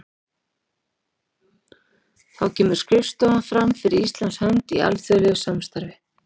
Þá kemur skrifstofan fram fyrir Íslands hönd í alþjóðlegu samstarfi.